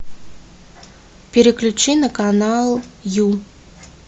переключи на канал ю